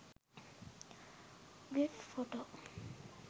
gif photo